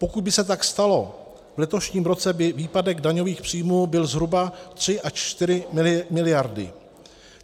Pokud by se tak stalo, v letošním roce by výpadek daňových příjmů byl zhruba 3 až 4 miliardy.